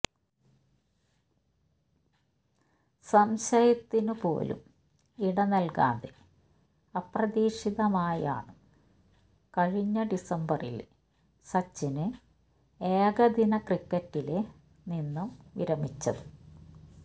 സംശയത്തിന് പോലും ഇട നല്കാതെ അപ്രതീക്ഷിതമായാണ് കഴിഞ്ഞ ഡിസംബറില് സച്ചിന് ഏകദിന ക്രിക്കറ്റില് നിന്നും വിരമിച്ചത്